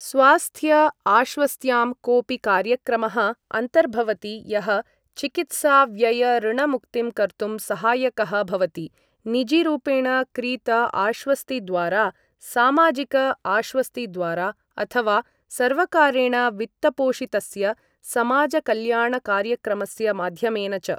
स्वास्थ्य आश्वस्त्यां कोपि कार्यक्रमः अन्तर्भवति यः चिकित्साव्ययऋणमुक्तिं कर्तुं सहायकः भवति, निजीरूपेण क्रीत आश्वस्तिद्वारा, सामाजिक आश्वस्तिद्वारा, अथवा सर्वकारेण वित्तपोषितस्य समाजकल्याणकार्यक्रमस्य माध्यमेन च।